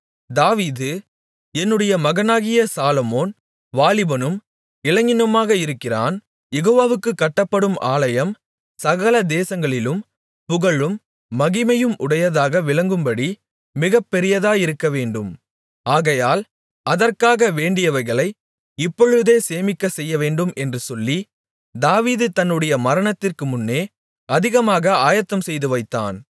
தாவீது என்னுடைய மகனாகிய சாலொமோன் வாலிபனும் இளைஞனுமாக இருக்கிறான் யெகோவாவுக்குக் கட்டப்படும் ஆலயம் சகல தேசங்களிலும் புகழும் மகிமையும் உடையதாக விளங்கும்படி மிகப்பெரியதாயிருக்க வேண்டும் ஆகையால் அதற்காக வேண்டியவைகளை இப்பொழுதே சேமிக்க செய்யவேண்டும் என்று சொல்லி தாவீது தன்னுடைய மரணத்திற்கு முன்னே அதிகமாக ஆயத்தம் செய்துவைத்தான்